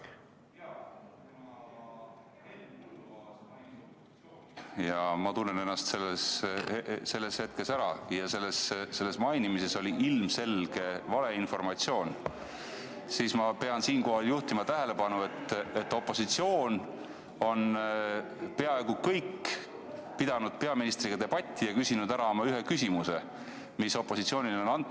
Kuna Henn Põlluaas mainis opositsiooni ja ma tunnen ennast selles hetkes ära, ja kuna selles mainimises oli ilmselge valeinformatsioon, siis ma pean siinkohal juhtima tähelepanu, et peaaegu kõik opositsiooni liikmed on pidanud peaministriga debatti ja küsinud ära oma ühe küsimuse, mis opositsioonile on antud.